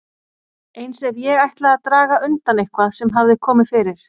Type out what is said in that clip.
Eins ef ég ætlaði að draga undan eitthvað sem hafði komið fyrir.